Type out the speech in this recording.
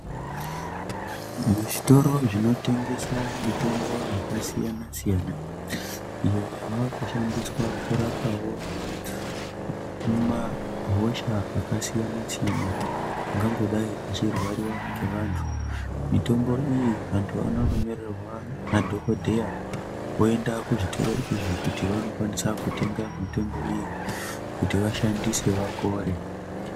Mu zvitoro zvino tengesa mitombo yaka siyana siyana iyo yavaku shandiswa kurapawo mahosha aka siyana siyana ungangodai vachi rwariwa ne vantu mitombo iyi antu anono nyorerwa na dhokodheya oenda ku zvitoro izvi kuti vano kwanisa kutenga mitombo iyi kuti vashandise vapore.